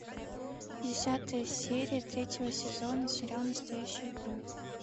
десятая серия третьего сезона сериал настоящая кровь